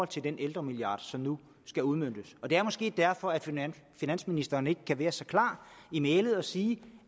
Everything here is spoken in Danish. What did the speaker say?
til den ældremilliard som nu skal udmøntes og det er måske derfor finansministeren ikke kan være så klar i mælet og sige